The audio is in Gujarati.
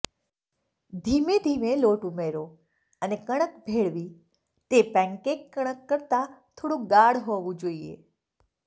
ધીમે ધીમે લોટ ઉમેરો અને કણક ભેળવી તે પેનકેક કણક કરતાં થોડું ગાઢ હોવું જોઈએ